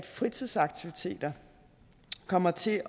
fritidsaktiviteter komme til